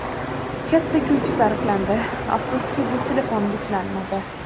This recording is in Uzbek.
Katta kuch sarflandi, afsuski bu telefon buklanmadi.